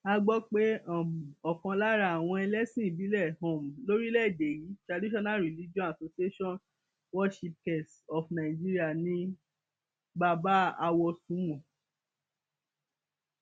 a gbọ pé um ọkan lára àwọn ẹlẹsìn ìbílẹ um lórílẹèdè yìí traditional religion association worshipkes of nigeria ni bàbá awòsùnwọn